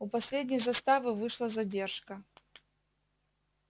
у последней заставы вышла задержка